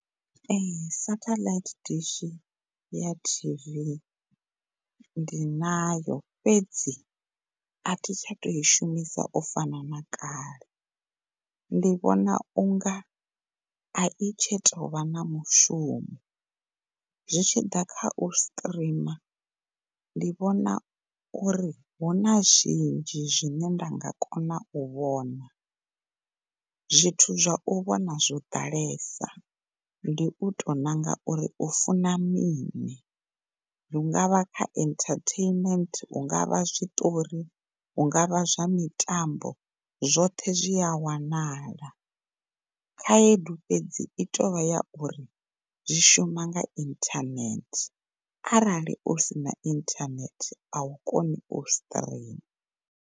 Ehe, satellite dishi ya T_V ndi nayo fhedzi athi tsha tou i shumisa u fana na kale ndi vhona unga ai tsha tou vha na mushumo zwi tshiḓa khau streamer ndi vhona uri huna zwinzhi zwine nga kona u vhona. Zwithu zwa u vhona zwo ḓalesa ndi u tou ṋanga uri u funa mini hunga vha kha entertainment, hunga vha zwiṱori, hunga vha zwa mitambo zwoṱhe zwi a wanala. Khaedu fhedzi i tou vha ya uri zwi shuma nga inthanethe arali u sina inthanethe a u koni u streamer.